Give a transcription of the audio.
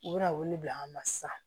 U bɛna wele bila an ma sisan